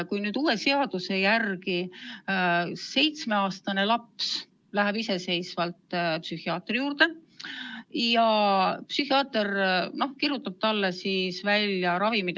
Kui nüüd uue seaduse järgi seitsmeaastane laps läheb iseseisvalt psühhiaatri juurde, siis vahest psühhiaater kirjutab talle välja ravimid.